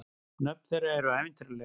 Nöfn þeirra eru ævintýraleg.